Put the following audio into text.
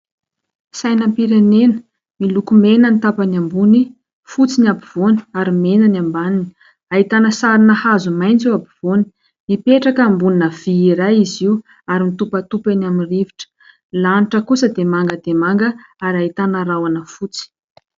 Sainam-pirenena miloko mena ny tapany ambony, fotsy ny ampovoany ary mena ny ambaniny. Ahitana sarina hazo maitso eo ampovoany. Mipetraka eo ambonina vy iray izy io ary mitopatopa eny amin'ny rivotra. Ny lanitra kosa dia manga dia manga ary ahitana rahona fotsy.